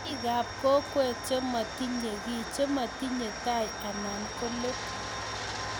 biikap kokwet chematinyei kiy chematinyei tai anan ko let